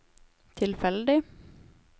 tilfeldig